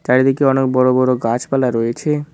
চারিদিকে অনেক বড় বড় গাছপালা রয়েছে।